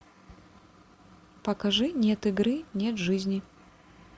покажи нет игры нет жизни